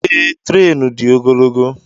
Eé tréénù dị ogologo